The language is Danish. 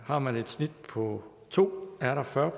har man et snit på to er der fyrre